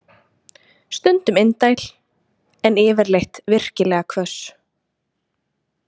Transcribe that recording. Stundum indæl, en yfirleitt virkilega hvöss.